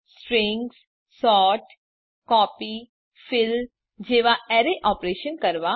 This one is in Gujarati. stringsસોર્ટ કોપી ફિલ જેવા એરે ઓપરેશનો કરવા